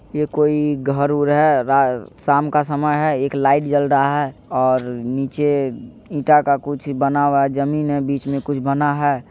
ये कोई घर उर हेय रा शाम का समय है एक लाइट जल रहा है और नीचे ईटा का कुछ बना हुआ है जमीन है बीच में कुछ बना है।